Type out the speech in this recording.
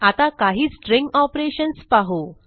आता काही string operations पाहू